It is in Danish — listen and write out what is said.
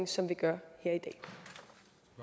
som vi gør